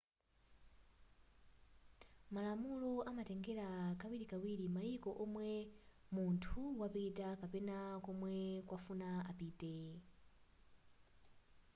malamulo amatengera kawirikawiri mayiko omwe munthu wapita kapena komwe akufuna apite